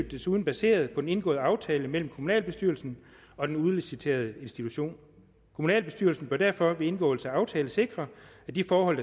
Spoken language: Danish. desuden baseret på den indgåede aftale mellem kommunalbestyrelsen og den udliciterede institution kommunalbestyrelsen bør derfor ved indgåelse af aftalen sikre at de forhold